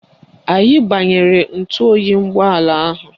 Anyị gbanyere ntụoyi ụgbọala ahụ